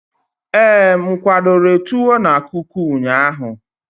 ee, m kwadobere tuwo na kuku ụnyaahụ?